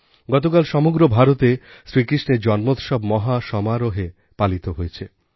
গতকাল সমগ্র ভারতে শ্রীকৃষ্ণের জন্মোৎসব মহা সমারোহে পালিত হয়েছে